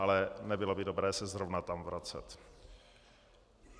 Ale nebylo by dobré se zrovna tam vracet.